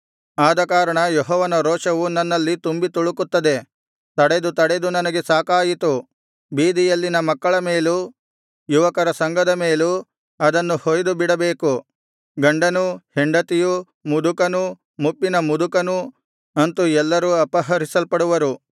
ಆದಕಾರಣ ಯೆಹೋವನ ರೋಷವು ನನ್ನಲ್ಲಿ ತುಂಬಿ ತುಳುಕುತ್ತದೆ ತಡೆದು ತಡೆದು ನನಗೆ ಸಾಕಾಯಿತು ಬೀದಿಯಲ್ಲಿನ ಮಕ್ಕಳ ಮೇಲೂ ಯುವಕರ ಸಂಘದ ಮೇಲೂ ಅದನ್ನು ಹೊಯ್ದು ಬಿಡಬೇಕು ಗಂಡನೂ ಹೆಂಡತಿಯೂ ಮುದುಕನೂ ಮುಪ್ಪಿನ ಮುದುಕನೂ ಅಂತು ಎಲ್ಲರೂ ಅಪಹರಿಸಲ್ಪಡುವರು